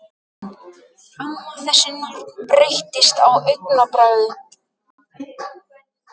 Amma, þessi norn, breyttist á augabragði.